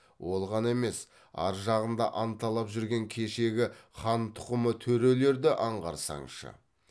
ол ғана емес ар жағында анталап жүрген кешегі хан тұқымы төрелерді аңғарсаңшы